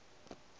a šala go bapa le